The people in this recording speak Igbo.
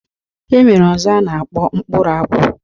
E nwere ọzọ a na-akpọ mkpụrụ akwụ